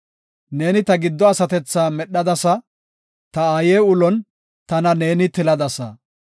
Neeni ta giddo asatethaa medhadasa; ta aaye ulon tana neeni tiladasa.